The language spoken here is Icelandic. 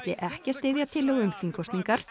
ekki að styðja tillögu um þingkosningar